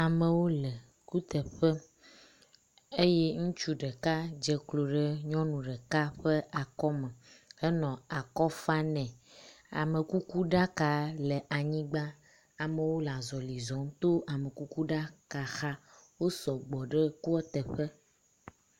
Amewo le kuteƒe eye ŋutsu ɖeka dze klo ɖe nyɔnu ɖeka ƒe akɔme henɔ akɔ fa nɛ, amekukuɖaka le anyigba, amewo le azɔli zɔ to amekukuɖaka xa, wo sɔgbɔ ɖe kua teƒe.